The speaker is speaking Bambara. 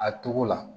A togo la